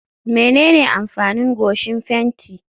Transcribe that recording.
Menene amfanin goshin fenti?